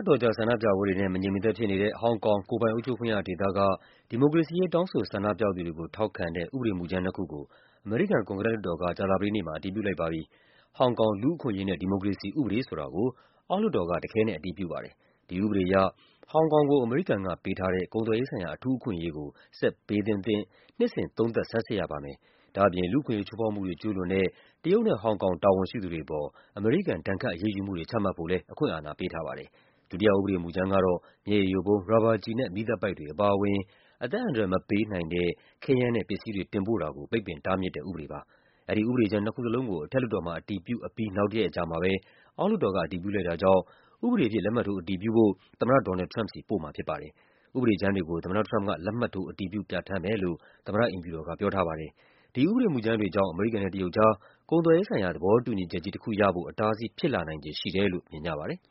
တော်ကြာ ဆန္ဒပြပွဲတွေနဲ့ မငြိမ်မသက်ဖြစ်နေတဲ့ ဟောင်ကောင် ကိုယ်ပိုင် အုပ်ချုပ်ခွင့်ရဒေသက ဒီမိုကရေစီရေး တောင်းဆို ဆန္ဒပြသူတွေကို ထောက်ခံတဲ့ ဥပဒေမူကြမ်းနှစ်ခုကို အမေရိကန် ကွန်ဂရက်လွှတ်တော်က ကြာသပတေးနေ့မှာ အတည်ပြုလိုက်ပါပြီ။ “ဟောင်ကောင် လူ့အခွင့်အရေး နဲ့ ဒီမိုကရေစီ ဥပဒေ” ဆိုတာကို အောက်လွှတ်တော်က တခဲနက်အတည်ပြုပါတယ်။ ဒီဥပဒေအရ ဟောင်ကောင်ကို အမေရိကန်ကပေးထားတဲ့ ကုန်သွယ်ရေးဆိုင်ရာ အထူးအခွင့်အရေးကို ဆက်ပေးသင့်မသင့် နှစ်စဉ် သုံးသပ် ဆန်းစစ်ရပါမယ်။ ဒါ့အပြင် လူ့အခွင့်အရေး ချိုးဖောက်မှုတွေ ကျူးလွန်တဲ့ တရုတ်နဲ့ ဟောင်ကောင် တာဝန်ရှိသူတွေ အပေါ် အမေရိကန် ဒဏ်ခတ်အရေးယူမှုတွေ ချမှတ်ဖို့လည်း အခွင့်အာဏာပေးထားပါတယ်။ ဒုတိယ ဥပဒေမူကြမ်းကတော့ မျက်ရည်ယိုဗုံး၊ ရာဘာကျည်နဲ့ မီးသတ်ပိုက်တွေ အပါအဝင် အသက်အန္တရာယ်မပေးနိုင်တဲ့ ခဲယမ်း နဲ့ ပစ္စည်းတွေ တင်ပို့တာကို ပိတ်ပင်တားမြစ်တဲ့ ဥပဒေပါ။ အဲဒီဥပဒေကြမ်းနှစ်ခုလုံးကို အထက်လွှတ်တော်မှာ အတည်ပြုအပြီး နောက်တရက်အကြာမှာပဲ အောက်လွှတ်တော်က အတည်ပြု လိုက်တာကြောင့် ဥပဒေအဖြစ် လက်မှတ်ထိုး အတည်ပြုဖို့ သမ္မတ ဒေါ်နယ်လ်ဒ် ထရမ့်ပ်ဆီ ပို့မှာဖြစ်ပါတယ်။ ဥပဒေကြမ်းတွေကို သမ္မတထရမ့်ပ်က လက်မှတ်ထိုး အတည်ပြု ပြဌာန်းမယ်လို့ သမ္မတ အိမ်ဖြူတော်က ပြောထားပါတယ်။ ဒီဥပဒေမူကြမ်းတွေကြောင့် အမေရိကန်နဲ့တရုတ်ကြား ကုန်သွယ်ရေးဆိုင်ရာ သဘောတူညီချက်ကြီးတခုရဖို့ အတားအဆီး ဖြစ်လာနိုင်ခြေရှိတယ်လို့ မြင်ကြပါတယ်